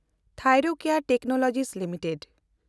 Thyrocare technology limited